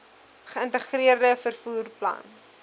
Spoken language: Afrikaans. geïntegreerde vervoer plan